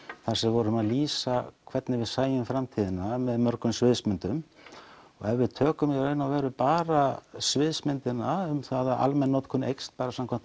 þar sem við vorum að lýsa hvernig við sæjum framtíðina með mörgum sviðsmyndum og ef við tökum í raun og veru bara sviðsmyndina um það að almenn notkun eykst samkvæmt